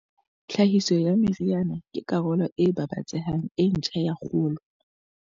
Tlhahiso ya meriana ke karolo e babatsehang e ntjha ya kgolo.